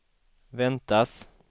väntas